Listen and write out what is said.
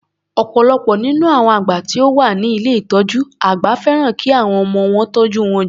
Ọ̀pọ̀lọpọ̀ nínú àwọn àgbà tí ó wá ni ilé ìtọjú àgbà fẹ́ràn ki àwọn ọmọ wọn tọ́jú wọn jù.